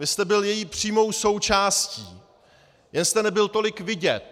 Vy jste byl její přímou součástí, jen jste nebyl tolik vidět.